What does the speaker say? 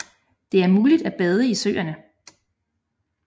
Det er muligt at bade i søerne